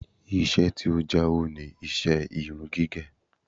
Ìṣe tí ó ń jàwó ni iṣẹ́ irun gígẹ̀